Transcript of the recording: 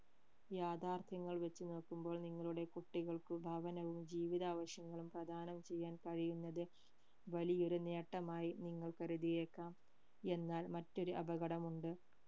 യാഥാർഥ്യങ്ങൾ വച്ച് നോക്കുമ്പോൾ നിങ്ങളുടെ കുട്ടികൾക്കും ഭവനവും ജീവിതാവശ്യങ്ങളും പ്രധാനം ചെയ്യാൻ കഴിയുന്നത് വലിയ ഒരു നേട്ടമായി നിങ്ങൾ കരുതിയേക്കാം എന്നാൽ മറ്റൊരു അപകടം ഉണ്ട്